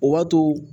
O b'a to